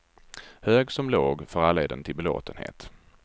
Hög som låg, för alla är den till belåtenhet.